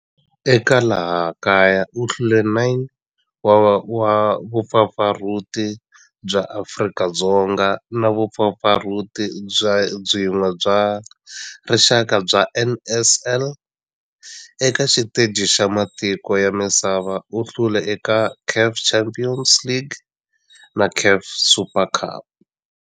Eka laha kaya u hlule 9 wa vumpfampfarhuti bya Afrika-Dzonga na vumpfampfarhuti byin'we bya rixaka bya NSL. Eka xiteji xa matiko ya misava, u hlule eka CAF Champions League na CAF Super Cup.